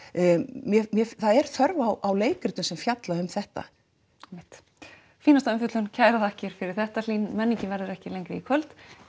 mér mér það er þörf á leikritum sem fjalla um þetta einmitt fínasta umfjöllun kærar þakkir fyrir þetta Hlín menningin verður ekki lengri í kvöld